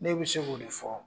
Ne be se k'o de fɔ